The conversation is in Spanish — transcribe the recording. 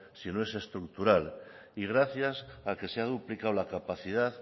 sino que es estructural y gracias a que se ha duplicado la capacidad